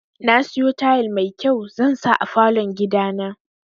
Nasiyo tayal mai kyau zansa a falon gidana.